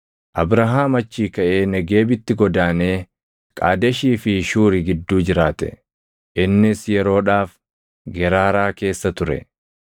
Abrahaam achii kaʼee Negeebitti godaanee Qaadeshii fi Shuuri gidduu jiraate. Innis yeroodhaaf Geraaraa keessa ture.